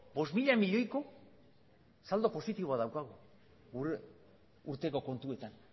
bost mila milioiko saldo positiboa daukagu urteko kontuetan